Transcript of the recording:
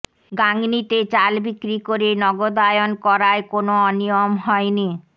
গাংনীতে চাল বিক্রি করে নগদায়ন করায় কোনো অনিয়ম হয়নি